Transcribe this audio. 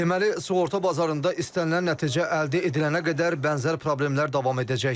Deməli, sığorta bazarında istənilən nəticə əldə edilənə qədər bənzər problemlər davam edəcək.